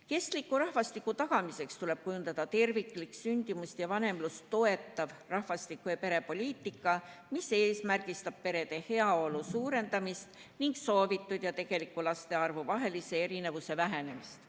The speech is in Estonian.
Kestliku rahvastiku tagamiseks tuleb kujundada terviklik sündimust ja vanemlust toetav rahvastiku- ja perepoliitika, mis seab eesmärgiks perede heaolu suurendamise ning soovitud ja tegeliku laste arvu vahelise erinevuse vähenemise.